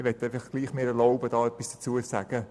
Ich erlaube mir, trotzdem etwas dazu zu sagen.